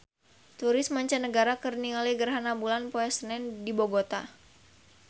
Turis mancanagara keur ningali gerhana bulan poe Senen di Bogota